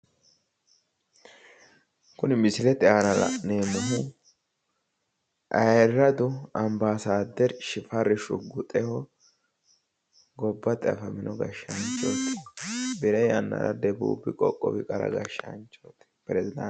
Kuni misilete aana la'neemmohu ayiiradu ambassaderchi shifarri shuguxehu gobbate afamino gashshaanchooti birre yannara debuubi qoqqowi qara gashshaanchooti presdaantete.